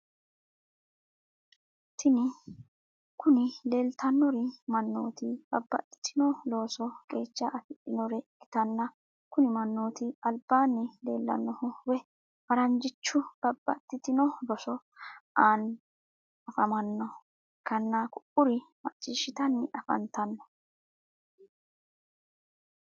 Tini kuni lileitanori mannoti babatitino loosi qecha afidhinore ikitana kuni manotu alibanni lelanohu woyi faragichu babatitino rosso ani afamanoha ikana ku’uri machishshitani afanitano.